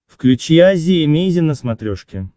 включи азия эмейзин на смотрешке